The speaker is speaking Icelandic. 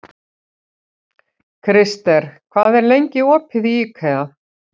Krister, hvað er lengi opið í IKEA?